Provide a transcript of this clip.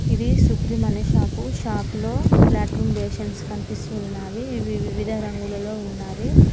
ఇది సుప్రీమణి షాపు షాపులో బేషన్స్ కనిపిస్తున్నావి ఇవి వివిధ రంగులలో ఉన్నవి.